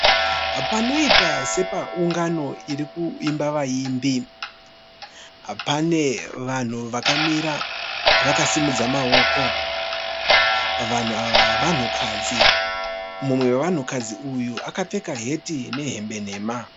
Panoita sepaungano iri kumba vaimbi. Pane vanhu vakamira vakasimudza maoko, vanhu ava vanhukadzi, mumwe wevanhukadzi uyu akapfeka heti nehembe nhema